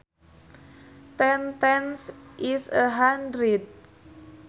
Ten tens is a hundred